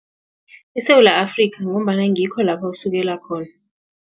ISewula Afrika ngombana ngikho lapho isukela khona.